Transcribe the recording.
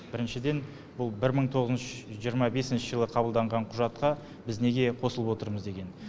біріншіден бұл бір мың тоғыз жүз жиырма бесінші жылы қабылданған құжатқа біз неге қосылып отырмыз деген